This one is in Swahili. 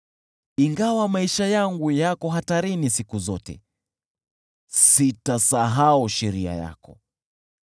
Ingawa maisha yangu yako hatarini siku zote, sitasahau sheria yako.